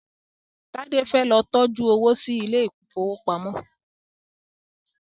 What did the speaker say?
Tade fẹ ló tọjú owo sí Ilé ìfowópamọ́